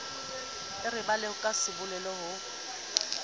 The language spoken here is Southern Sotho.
e rabella ka sabole ho